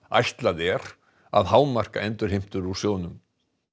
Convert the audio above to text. ætlað er að hámarka endurheimtur úr sjóðnum